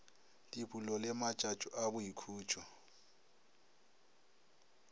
dipulo le matšatšo a boikhutšo